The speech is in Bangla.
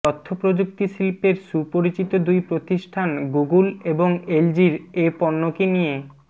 তথ্যপ্রযুক্তি শিল্পের সুপরিচিত দুই প্রতিষ্ঠান গুগল এবং এলজির এ পণ্যকে নিয়ে